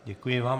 Děkuji vám.